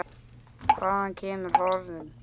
Hvaðan kemur horinn?